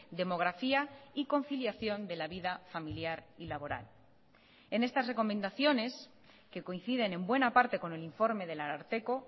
demografía y conciliación de la vida familiar y laboral en estas recomendaciones que coinciden en buena parte con el informe del ararteko